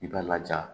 I b'a laja